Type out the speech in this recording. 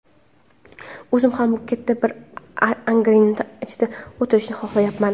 o‘zim ham katta bir angarni ichida o‘tirishni xohlayapman.